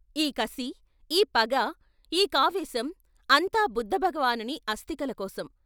ఈ కసి, ఈ పగ, ఈ కావేషం అంతా బుద్ధ భగవానుని అస్తికల కోసం.